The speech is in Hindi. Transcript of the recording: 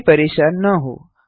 इससे परेशान न हों